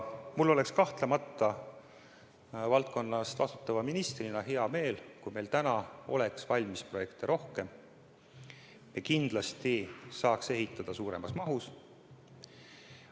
Mul oleks valdkonna eest vastutava ministrina kahtlemata hea meel, kui meil oleks valmis projekte rohkem, ja kindlasti saaks ehitada suuremas mahus.